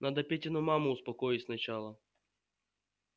надо петину маму успокоить сначала